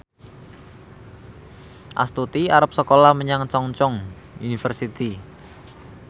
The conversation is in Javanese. Astuti arep sekolah menyang Chungceong University